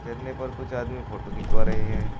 झरने पर कुछ आदमी फोटो खिंचवा रहे है।